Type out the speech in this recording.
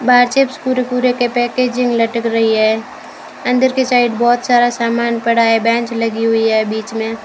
बाहर चिप्स कुरकुरे के पैकेजिंग लटक रही है अंदर की साइड बहुत सारा सामान पड़ा है बेंच लगी हुई है बीच में।